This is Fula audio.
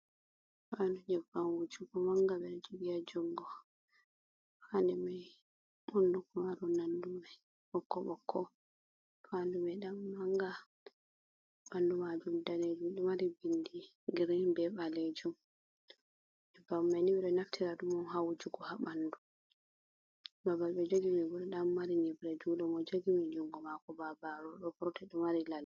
Faandu nyebbam wujugo mannga ɓe ɗo jogi haa junngo. Faandu may hunnduko maaru nonnde may ɓokko ɓokko, faandu may nda mannga, ɓanndu maajum daneejum ɗo mari binndi girin, be ɓaleejum nyebbam ni be ɗo naftira ɗum on haa wujugo haa ɓanndu, babal ɓe jogi may bo ɗo ɗan mari nyibre junngo mo jogi may junngo maako babaru ɗo vurti ɗo mari ladi.